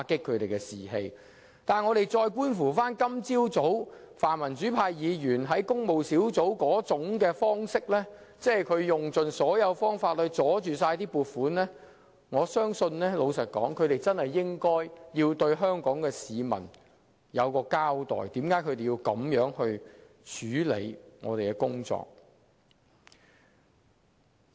不過，觀乎泛民主派議員在今早工務小組委員會會議上的處事方式，即用盡方法阻撓撥款，我認為他們確有需要向香港市民交代，為何要這樣處理議員的工作。